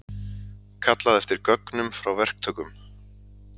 Kallað eftir gögnum frá verktökum